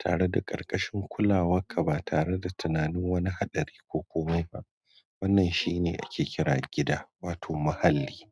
tare da ƙarƙashin kulawarka ba tare da tunanin wani haɗari ko kuma me zai faru ba. Wannan shi ake kira gida, wato muhalli.